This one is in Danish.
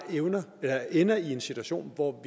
ender i en situation hvor